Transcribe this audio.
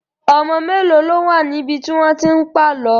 Ọmọ mélòó ló wà níbi tí wọ́n ti ń pàlọ́?